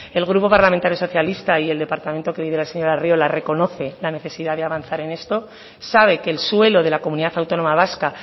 el grupo parlamentario socialista y el departamento que lidera el señor arriola reconoce la necesidad de avanzar en esto sabe que el suelo de la comunidad autónoma vasca